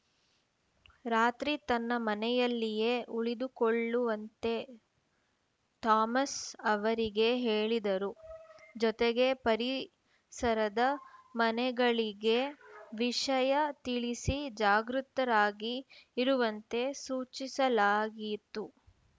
ರಾತ್ರಿ ತನ್ನ ಮನೆಯಲ್ಲಿಯೇ ಉಳಿದುಕೊಳ್ಳುವಂತೆ ಥಾಮಸ್‌ ಅವರಿಗೆ ಹೇಳಿದರು ಜೊತೆಗೆ ಪರಿಸರದ ಮನೆಗಳಿಗೆ ವಿಷಯ ತಿಳಿಸಿ ಜಾಗೃತರಾಗಿ ಇರುವಂತೆ ಸೂಚಿಸಲಾಗಿತು